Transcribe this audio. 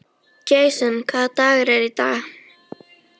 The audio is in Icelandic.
Jason, hvaða dagur er í dag?